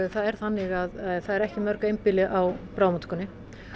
það er þannig að það eru ekki mörg einbýli á bráðamóttökunni